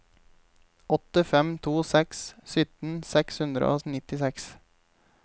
åtte fem to seks sytten seks hundre og nittiseks